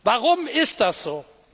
Warum ist das so?